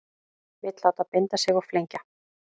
Vill láta binda sig og flengja